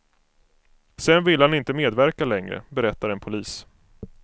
Sedan ville han inte medverka längre, berättar en polis.